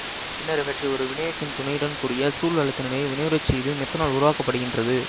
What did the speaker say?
பின்னர் இவற்றை ஒரு வினையூக்கியின் துணையுடன் கூடிய சூழ் அழுத்த நிலையில் வினையுறச்செய்து மெத்தனால் உருவாக்கப்படுகின்றது